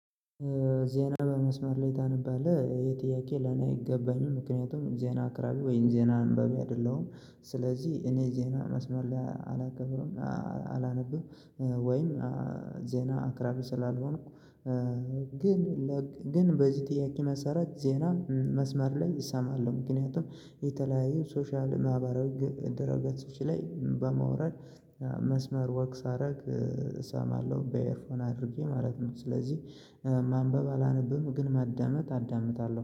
ዜና በመስመር ላይ ታነባለህ? ይሄ ጥያቄ ለኔ አይገባኝም። ምክንያቱም ዜና አቅራቢ ወይም ዜና አንባቢ አይደለሁም። ስለዚህ እኔ ዜና መስመር ላይ አላቀርብም አላነብም፤ ወይም ዜና አቅራቢ ስላልሆንኩ ግን ግን በዚህ ጥያቄ መሰረት ዜና መስመር ላይ እሰማለሁ። ምክንያቱም የተለያዩ ሶሻል ማህበራዊ ድረገጾች ላይ በማውረድ መስመር ወክ ሳደርግ እሰማለሁ በኤርፎን አድርጌ ማለት ነው። ስለዚህ ማንበብ አላነብም ግን ማዳመጥ አዳምጣለሁ።